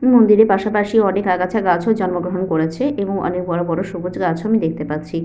মন্দিরের পাশাপাশি অনেক আগাছা গাছ ও জন্ম গ্রহণ করেছে এবং অনেক বড় বড় সবুজ গাছ ও আমি দেখতে পাচ্ছি।